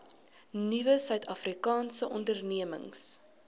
nuwe suidafrikaanse ondernemings